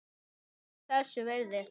Alltaf þess virði.